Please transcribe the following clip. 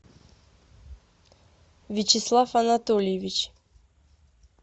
вячеслав анатольевич